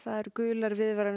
gular viðvaranir